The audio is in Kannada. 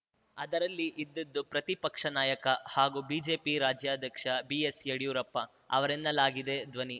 ಅದರಲ್ಲಿ ಇದ್ದುದು ಪ್ರತಿಪಕ್ಷ ನಾಯಕ ಹಾಗೂ ಬಿಜೆಪಿ ರಾಜ್ಯಾಧ್ಯಕ್ಷ ಬಿಎಸ್‌ಯಡಿಯೂರಪ್ಪ ಅವರೆನ್ನಲಾಗಿದೆ ಧ್ವನಿ